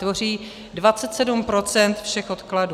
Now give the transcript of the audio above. Tvoří 27 % všech odkladů.